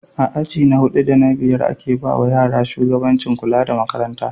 A aji na hudu da na biyar ake bawa yara shugabancin kula da Makaranta